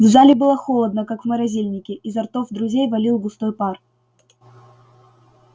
в зале было холодно как в морозильнике изо ртов друзей валил густой пар